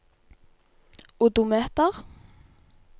odometer